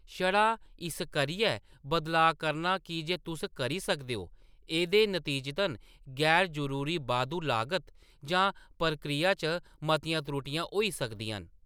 छड़ा इस करियै बदलाऽ करना की जे तुस करी सकदे ओ, एह्‌‌‌दे नतीजतन गैर-जरूरी बाद्धू लागत जां प्रक्रिया च मतियां त्रुटियाँ होई सकदियां न।